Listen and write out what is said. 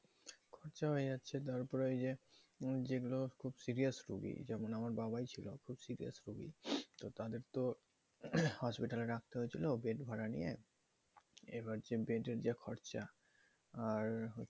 তারপর ওই যে ওই আসছে যেগুলো খুব serious রোগী যেমন আমার বাবাই ছিল খুব serious রোগী তো তাদের তো hospital রাখতে হয়েছিল bed ভাড়া নিয়ে এবার বেডের খরচা আর